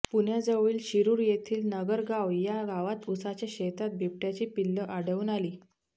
पुण्याजवळील शिरूर येथील नगरगाव या गावात ऊसाच्या शेतात बिबट्याची पिल्लं आढळून आली